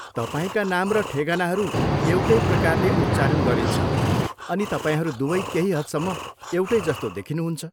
तपाईँका नाम र ठेगानाहरू एउटै प्रकारले उच्चारण गरिन्छ, अनि तपाईँहरू दुवै केही हदसम्म एउटै जस्तो देखिनुहुन्छ।